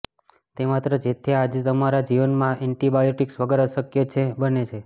તે માત્ર જેથી આજે અમારા જીવન એન્ટીબાયોટીક્સ વગર અશક્ય છે બને છે